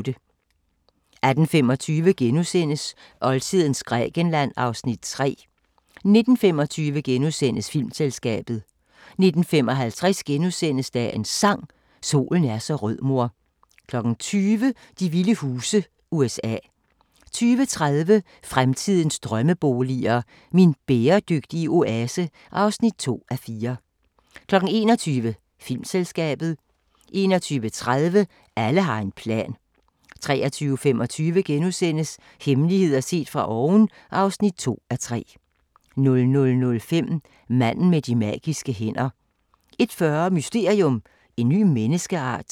18:25: Oldtidens Grækenland (Afs. 3)* 19:25: Filmselskabet * 19:55: Dagens Sang: Solen er så rød mor * 20:00: De vilde huse - USA 20:30: Fremtidens drømmeboliger: Min bæredygtige oase (2:4) 21:00: Filmselskabet 21:30: Alle har en plan 23:25: Hemmeligheder set fra oven (2:3)* 00:05: Manden med de magiske hænder 01:40: Mysterium: En ny menneskeart?